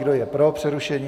Kdo je pro přerušení?